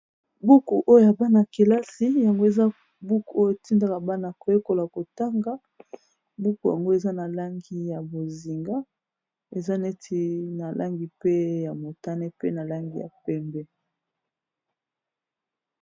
Buku oyo ya bana kelasi. Yango, eza buku oyo etindaka bana koyekola kotanga. Buku yango eza na langi ya bozinga, eza neti na langi pe ya motane, pe na langi ya pembe.